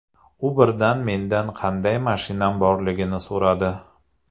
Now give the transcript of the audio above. U birdan mendan qanday mashinam borligini so‘radi.